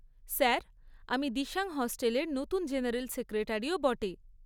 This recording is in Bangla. স্যার, আমি দিসাং হস্টেলের নতুন জেনারেল সেক্রেটারিও বটে।